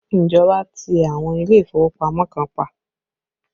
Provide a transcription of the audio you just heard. Ìjọba ti àwọn ilé ìfowópamọ́ kan pa